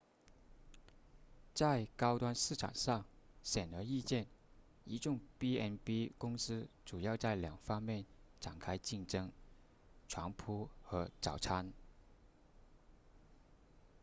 在高端市场上显而易见一众 b&b 公司主要在两个方面展开竞争床铺和早餐